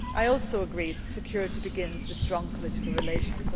I also agree that security begins with strong political relations.